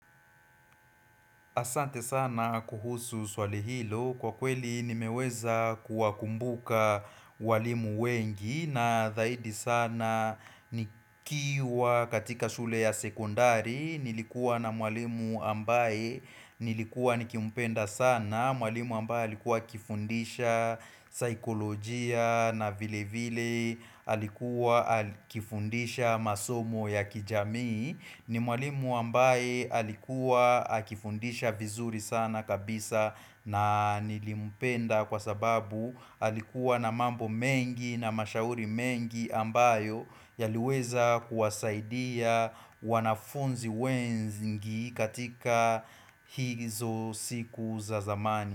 Asante sana kuhusu swali hilo kwa kweli nimeweza kuwa kumbuka walimu wengi na zaidi sana nikiwa katika shule ya sekundari nilikua na walimu ambaye nilikua nikimpenda sana mwalimu ambaye alikuwa kifundisha saikolojia na vile vile alikuwa aki kifundisha masomo ya kijamii ni mwalimu ambaye alikuwa aki kifundisha vizuri sana kabisa na nilimpenda Kwa sababu alikuwa na mambo mengi na mashauri mengi ambayo Yaliweza kuwasaidia wanafunzi wengi katika hizo siku za zamani.